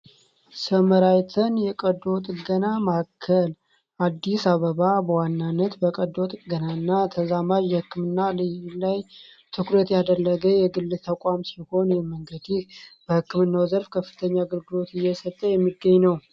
ታምራትን የቀዶ ህክምና ማእከላዊ ዋናነት ህክምና እና ተዛማጅ የህክምና ጉዳዮች ያደረገ ሲሆን ይህም እንግዲህ በህክምናው ዘርፍ ላይ ከፍተኛ አገልግሎት እየሰጠ ነው።